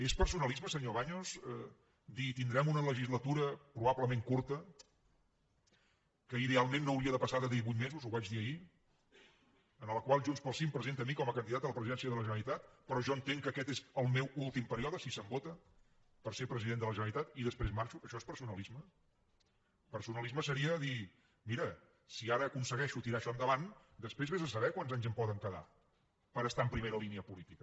és personalisme senyor baños dir tindrem una legislatura probablement curta que idealment no hauria de passar de divuit mesos ho vaig dir ahir en la qual junts pel sí em presenta a mi com a can didat a la presidència de la generalitat però jo entenc que aquest és el meu últim període si se’m vota per ser president de la generalitat i després marxo això és personalisme personalisme seria dir mira si ara aconsegueixo tirar això endavant després vés a saber quants anys em poden quedar per estar en primera línia política